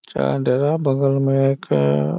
चाहे डेरा बगल में एक --